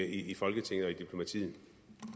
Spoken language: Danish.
i folketinget